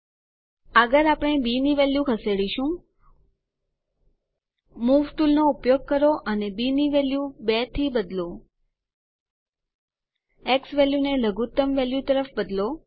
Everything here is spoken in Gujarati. આગળ આપણે બી ની વેલ્યુ ખસેડીશું મૂવ ટુલ નો ઉપયોગ કરો અને બી ની વેલ્યુ 2 થી બદલો ઝવેલ્યુ ને લઘુત્તમ વેલ્યુ તરફ બદલો